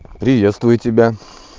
приветствую тебя